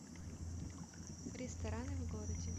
рестораны в городе